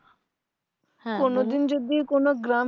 কোনো দিন যদি কোনো গ্রামে